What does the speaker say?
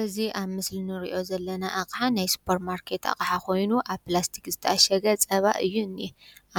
እዚ ኣብ ምስሊ እንሪኦ ዘለና አቅሓ ናይ ስፖር ማርኬት አቅሓ ኮይኑ ኣብ ፕላስቲክ ዝተኣሸገ ፀባ እዩ እኒአ